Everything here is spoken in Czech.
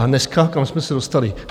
A dneska kam jsme se dostali?